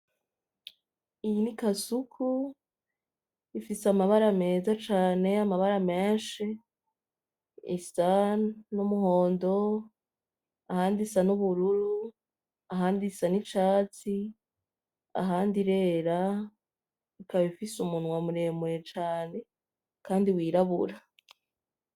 Iyi ni kasuku ifise amabara meza cane amabata menshi isa n'umuhondo ahandi isa n'ubururu ahandi isa n'icatsi ahandi irera ikaba ifise umunwa muremure cane kandi w'irabura.